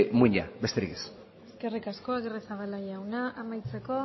muinak besterik ez eskerrik asko aguirrezabala jauna amaitzeko